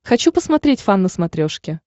хочу посмотреть фан на смотрешке